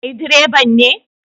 Kai direban ne?